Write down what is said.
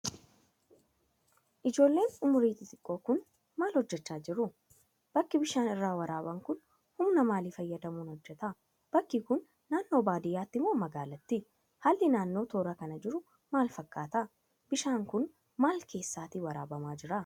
Ijoolleen umrii xixiqqoo kun, maal hojjachaa jiru? Bakki bishaan irraa waraaban kun, humna maalii fayyadamuun hojjata? Bakki kun naannoo baadiyaati moo magaalaati? Haalli naanno toora kana jiruu maal fakkaata? Bishaan kun, maal keessatta waraabbamaa jira?